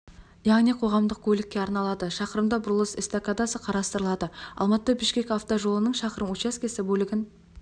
яғни қоғамдық көлікке арналады шақырымда бұрылыс эстакадасы қарастырылады алматы бішкек автокөлік жолының шақырым учаскесі бөлігін